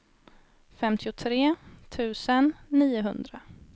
femtiotre tusen niohundra